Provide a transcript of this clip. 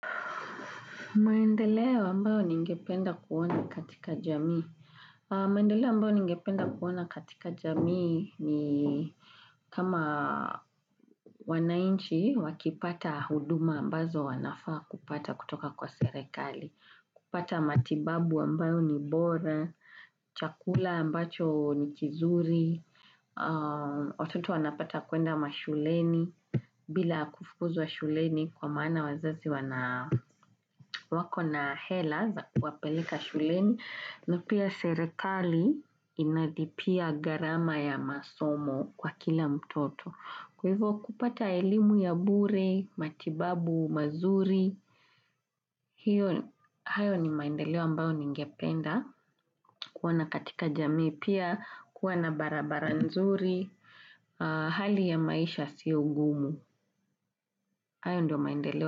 Maendeleo ambao ningependa kuona katika jamii. Maendeleo ambao ningependa kuona katika jamii ni kama wananchi wakipata huduma ambazo wanafaa kupata kutoka kwa serikali. Kupata matibabu ambayo ni bora, chakula ambacho ni kizuri, Watoto wanapata kuenda mashuleni, bila kufukuzwa shuleni kwamaana wazazi wako na hela za kuwapeleka shuleni, napia serikali inalipia gharama ya masomo kwa kila mtoto. Kwa hivyo kupata elimu ya bure, matibabu mazuri, hayo ni maendeleo ambayo ningependa, kuona katika jamii pia, kuwa na barabara nzuri, hali ya maisha yasiyo ngumu, hayo ndiyo maendeleo.